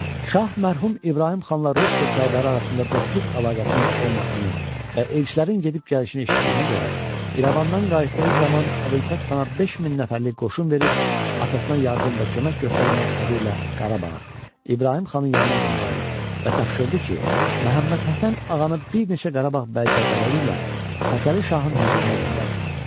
Şah mərhum İbrahim xanla Rusiya Sərdarı arasında dostluq əlaqəsinin olmasını və elçilərin gedib-gəlişini eşitdiyinə görə, İrəvandan qayıtdığı zaman Əbülfət Xana 5000 nəfərlik qoşun verib atasına yardım və kömək göstərmək adı ilə Qarabağa, İbrahim xanın yanına göndərdi və tapşırdı ki, Məhəmməd Həsən Ağanı bir neçə Qarabağ bəyzadələri ilə Fətəli Şahın hüzuruna göndərsin.